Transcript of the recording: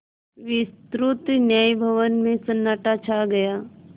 विस्तृत न्याय भवन में सन्नाटा छा गया